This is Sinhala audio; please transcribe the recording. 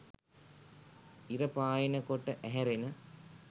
ඉර පායන කොට ඇහැරෙන